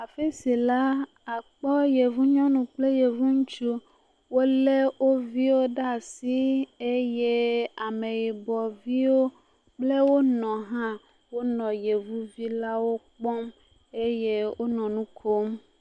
Afi si la akpɔ Yevu nyɔnu kple Yevu ŋutsu. Wolé wo viwo ɖa asii eye Ameyibɔviwo kple wo nɔ hã wonɔ Yevuvilawo kpɔm eye wonɔ nu kom.